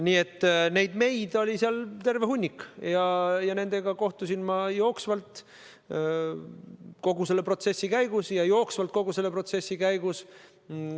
Nii et neid "meid" oli seal terve hulk ja ma kohtusin nendega jooksvalt kogu selle protsessi käigus.